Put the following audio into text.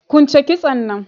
Kwunche kitson nan